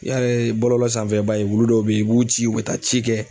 I y'a ye bɔlɔlɔ sanfɛ i b'a ye wulu dɔw be yen u b'u ci u be taa ci kɛ